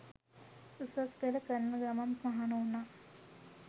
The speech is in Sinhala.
උසස් පෙළ කරන ගමන් මහණ වුණා.